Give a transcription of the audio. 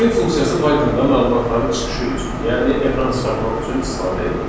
Print funksiyası Pythonda məlumatların çıxışı üçün, yəni ekrana çıxartmaq üçün istifadə edilir.